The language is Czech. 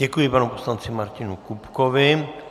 Děkuji panu poslanci Martinu Kupkovi.